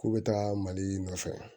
K'u bɛ taga mali nɔfɛ